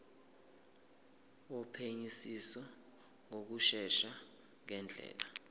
wophenyisiso ngokushesha ngendlela